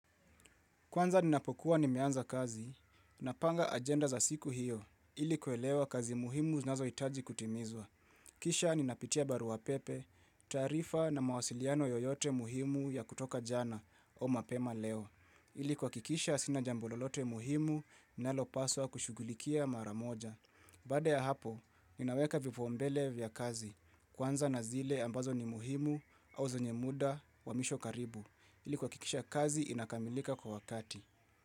Kwanza ninapokuwa nimeanza kazi, napanga agenda za siku hiyo, ili kuelewa kazi muhimu zinazohitaji kutimizwa. Kisha ninapitia barua pepe, taarifa na mawasiliano yoyote muhimu ya kutoka jana au mapema leo. Ili kuhakikisha sina jambo lolote muhimu ninalopaswa kushugulikia mara moja. Baada ya hapo, ninaweka vipaumbele vya kazi, kuanza na zile ambazo ni muhimu au zenye muda wa misho karibu. Ili kuhakikisha kazi inakamilika kwa wakati.